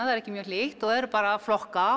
það er ekki mjög hlýtt og eru bara að flokka